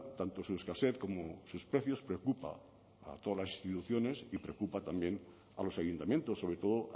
tanto su escasez como sus precios preocupa a todas las instituciones y preocupa también a los ayuntamientos sobre todo